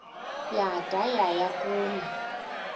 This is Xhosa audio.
yada yaya kuma